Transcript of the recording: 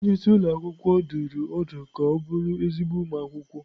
Onye isi ụlọ akwụkwọ dụrụ ọdụ ka ọ bụrụ ezigbo ụmụ akwụkwọ.